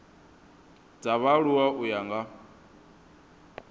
dza vhaaluwa u ya nga